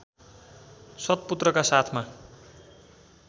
सत्पुत्रका साथमा